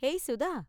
ஏய்‌ சுதா!